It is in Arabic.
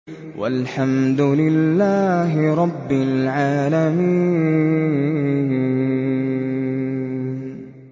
وَالْحَمْدُ لِلَّهِ رَبِّ الْعَالَمِينَ